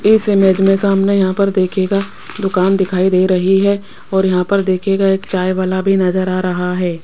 इस इमेज में सामने यहाँ पर देखिएगा दुकान दिखाई दे रही हैं और यहाँ पर देखिएगा एक चाय वाला भी नजर आ रहा हैं।